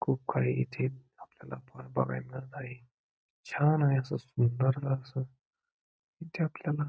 खूप काही इथे आपल्याला बघायला मिळत आहे छान आहे अस सुंदर अस इथे आपल्याला--